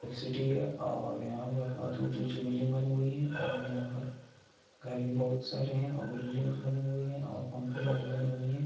ये एक सिटी है और यहाँ पर बोहोत ऊंची ऊंची बिल्डिंग बनी हुई है और यहाँ पर हर भी बोहोत सारे है और बिल्डिंग बने हुए है और कंपनियाँ भी बनी हुई है ।